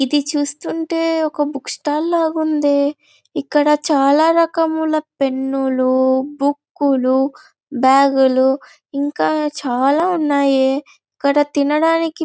ఇది చూస్తుంటే ఒక బుక్ స్టాల్ ల ఉండే. ఇక్కడ చాలా రకముల పెన్ లు బుక్ లు బాగ్ లు ఇంకా ఇక్కడ చాలా ఉన్నాయే. ఇక్కడ తినడానికి--